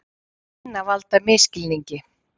Það kynni að valda misskilningi.